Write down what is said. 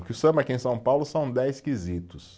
Que o samba aqui em São Paulo são dez quesitos.